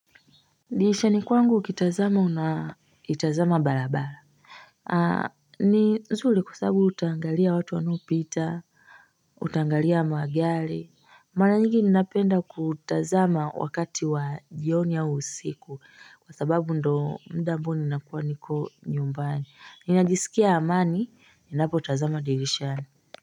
Dirishani kwangu ukitazama unatazama balabala aa ni nzuli kwa sabu utaangalia watu wanaopita utaangalia magali mara nyingi ninapenda kutazama wakati wa jioni au usiku kwa sababu ndo mda ambao ninakuwa niko nyumbani ninajisikia amani ninapotazama dirishani.